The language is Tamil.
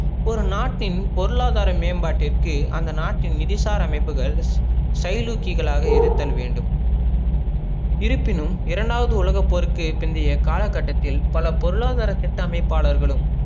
ஒரு நாட்டின் பொருளாதர மேம்பாட்டிற்கு அந்த நாட்டின் நிதிசார அமைப்புகள செயலூக்கிழாக இருத்தல் வேண்டும் இருபினும் இரண்டாவது உலகப் போருக்கு பிந்திய கால கட்டத்தில் பல பொருளாதர திட்ட அமைப்பாலர்களும்